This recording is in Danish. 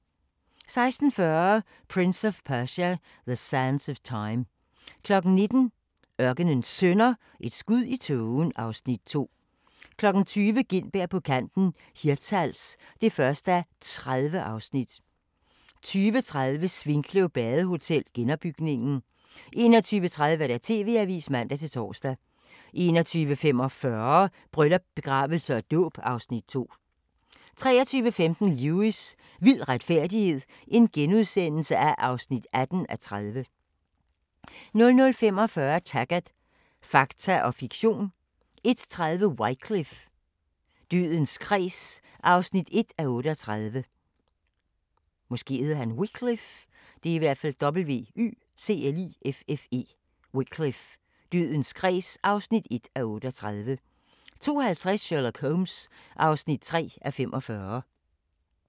16:40: Prince of Persia: The Sands of Time 19:00: Ørkenens Sønner – Et skud i tågen (Afs. 2) 20:00: Gintberg på kanten – Hirtshals (1:30) 20:30: Svinkløv Badehotel – genopbygningen 21:30: TV-avisen (man-tor) 21:45: Bryllup, begravelse og dåb (Afs. 2) 23:15: Lewis: Vild retfærdighed (18:30)* 00:45: Taggart: Fakta og fiktion 01:30: Wycliffe: Dødens kreds (1:38) 02:50: Sherlock Holmes (3:45)